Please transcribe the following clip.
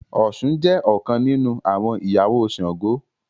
Òshun jé ọkàn nínú àwọn ìyàwó Ṣàngó.